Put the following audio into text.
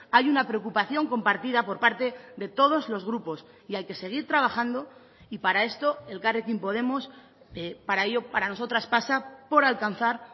hay una preocupación compartida por parte de todos los grupos y hay que seguir trabajando y para esto elkarrekin podemos para ello para nosotras pasa por alcanzar